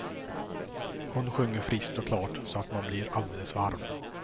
Hon sjunger friskt och klart så att man blir alldeles varm.